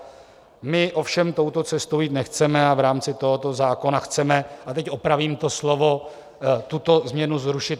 My ovšem touto cestou jít nechceme a v rámci tohoto zákona chceme - a teď opravím to slovo - tuto změnu zrušit.